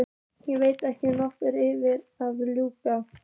Ég veit ekki hvor ykkar er að ljúga.